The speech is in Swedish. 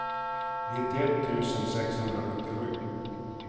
nittioett tusen sexhundrasjuttiosju